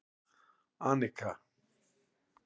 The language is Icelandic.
Anika